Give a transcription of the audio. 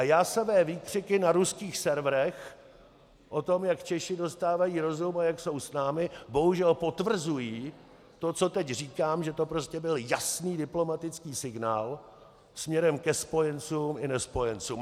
A jásavé výkřiky na ruských serverech o tom, jak Češi dostávají rozum a jak jsou s námi, bohužel potvrzují to, co teď říkám, že to prostě byl jasný diplomatický signál směrem ke spojencům a nespojencům.